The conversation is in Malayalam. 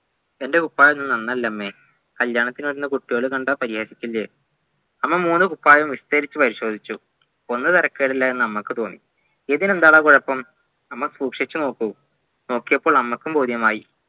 എൻ്റെ കുപ്പായമൊന്നും നന്നല്ല അമ്മെ കല്യാണത്തിന് വരുന്ന കുട്ടികൾ കണ്ടാൽ കളിയാക്കില്ലേ 'അമ്മ മൂന്നുകുപ്പായവും വിസ്തരിച്ച് പരിശോദിച്ചു ഒന്ന് തെരക്കേടില്ലായെന്ന അമ്മക്ക് തോന്നി ഇതിനെന്താടാ കുഴപ്പം 'അമ്മ സൂക്ഷിച്ചു നോക്കു നോക്കിയപ്പോൾ അമ്മക്കും ബോധ്യമായി